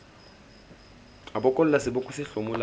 a bokolla seboko se hlomolang